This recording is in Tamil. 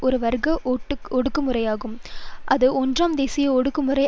ஒரு வர்க்க ஒடுக்குமுறையாகும் அது ஒன்றாம் தேசிய ஒடுக்குமுறை